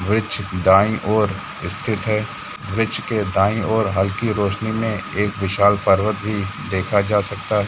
Bridge दायी ओर स्तिथ है ब्रिज के दायी ओर हलकी रौशनी में एक विशाल पर्वत भी देखा जा सकता है।